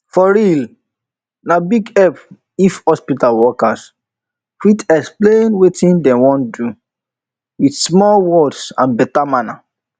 for realna big help if hospital workers fit explain wetin dem wan do with small small words and better manner